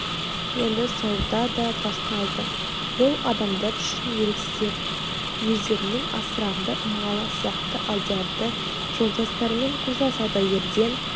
енді сауда да басталды бұл адамдар үшін еріксіздер өздерінің асыранды малы сияқты алдиярды жолдастарымен қоса саудагерден